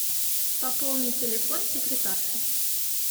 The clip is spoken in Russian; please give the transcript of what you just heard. пополнить телефон секретарши